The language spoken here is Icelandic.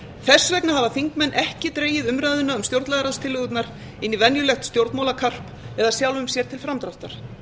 þess vegna hafa þingmenn ekki dregið umræðuna um stjórnlagaráðstillögurnar inn í venjulegt stjórnmálakarp eða sjálfum sér til framdráttar